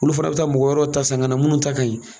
Olu fana bi taa mɔgɔ wɛrɛw ta san ka na mun ta ka ɲi